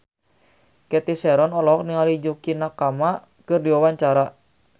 Cathy Sharon olohok ningali Yukie Nakama keur diwawancara